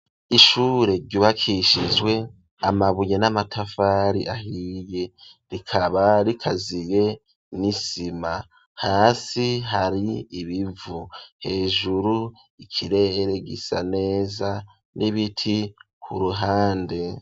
Ishure ryubakishizwe amabuye n'amatafari ahiye rikaba rikaziye n'isima hasi hari ibivu hejuru ikirere gisa neza n'ibiti ku ruhande.